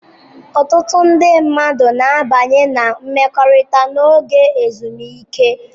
Ọtụtụ ndị mmadụ na-abanye na mmekọrịta n'oge ezumike.